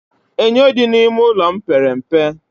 Enyo dị n'ime ụlọ m pere mpe